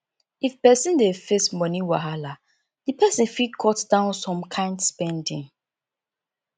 if person dey face money wahala di person fit cut down some kind spending